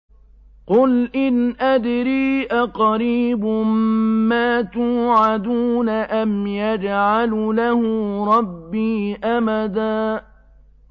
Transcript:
قُلْ إِنْ أَدْرِي أَقَرِيبٌ مَّا تُوعَدُونَ أَمْ يَجْعَلُ لَهُ رَبِّي أَمَدًا